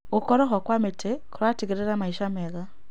Gũkorwo ho kwa mĩtĩ kũratigĩrĩra maica mega.